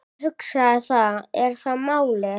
Ég hugsa, það er málið.